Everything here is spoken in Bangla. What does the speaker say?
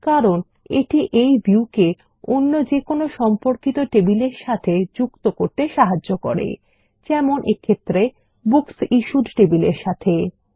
কারণ এটি এই ভিউ কে অন্য যেকোনো সম্পর্কিত টেবিলের সাথে যুক্ত করতে সাহায্য করে যেমন এক্ষেত্রে বুকসিশ্যুড টেবিলের সাথে